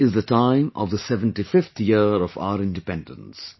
This is the time of the 75th year of our Independence